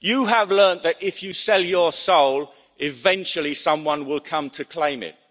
him. You have learned that if you sell your soul, eventually someone will come to claim